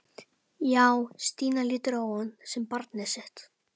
Já, Stína lítur á hann sem barnið sitt.